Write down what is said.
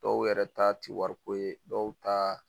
Dɔw yɛrɛ ta tɛ wariko ye dɔw ta